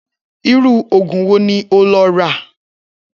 Irú ògùn wo ni o lo̩ rà?